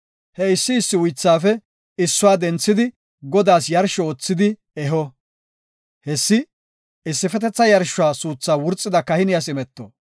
He issi issi uythaafe issuwa denthidi Godaas yarsho oothidi eho. Hessi issifetetha yarshuwa suuthaa wurxida kahiniyas imeto.